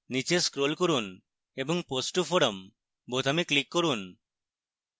নীচে scroll করুন এবং post to forum বোতামে click করুন